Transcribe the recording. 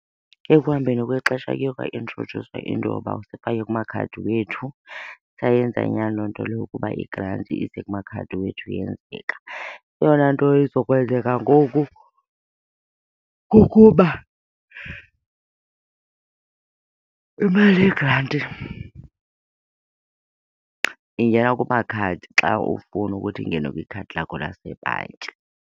Ekuhambeni kwexesha kuye kwaintrodyuswa into yoba sifake kumakhadi wethu. Sayenza nyani loo nto leyo ukuba igranti ize kumakhadi wethu yenzeka. Eyona nto izokwenzeka ngoku kukuba imali yegranti ingena kumakhadi xa ufuna ukuthi ingene kwikhadi lakho lasebhanki.